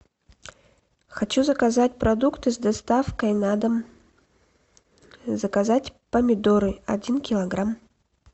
хочу заказать продукты с доставкой на дом заказать помидоры один килограмм